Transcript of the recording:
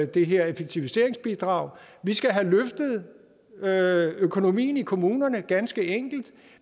det her effektiviseringsbidrag vi skal have løftet økonomien i kommunerne ganske enkelt